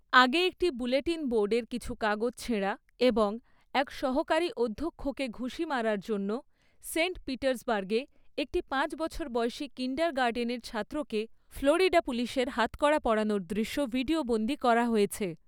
আগে একটি বুলেটিন বোর্ডের কিছু কাগজ ছেঁড়া এবং এক সহকারী অধ্যক্ষকে ঘুঁষি মারার জন্য, সেন্ট পিটার্সবার্গে একটি পাঁচ বছর বয়সী কিণ্ডারগার্টেনের ছাত্রকে ফ্লোরিডা পুলিশের হাতকড়া পরানোর দৃশ্য ভিডিয়োবন্দী করা হয়েছে ৷